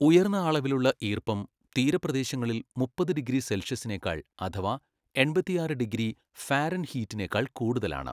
ഉയർന്ന അളവിലുള്ള ഈർപ്പം തീരപ്രദേശങ്ങളിൽ മുപ്പത് ഡിഗ്രി സെൽഷ്യസിനേക്കാൾ അഥവാ എൺപത്തിയാറ് ഡിഗ്രി ഫാരൻഹീറ്റിനേക്കാൾ കൂടുതലാണ്.